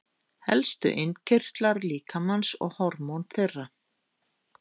Helstu innkirtlar líkamans og hormón þeirra.